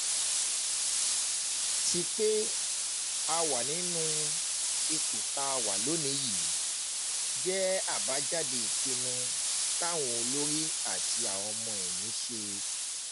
ti pé a wà nírú ipò tá a wà lónìí yìí jẹ́ àbájáde ìpinnu táwọn olórí àti ọmọ-ẹ̀yìn ṣe